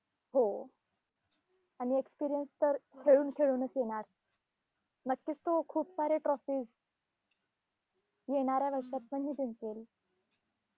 हो, आणि experience तर खेळून खेळूनच येणार. नक्कीच तो खूप सारे trophies येणाऱ्या वर्षात पण ही जिंकेल.